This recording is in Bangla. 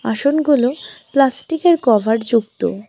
আসুনগুলো প্লাস্টিকের কভার যুক্ত।